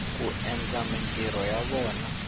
ku endla mintirho ya vona